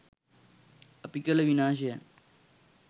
අපි කළ විනාශයන්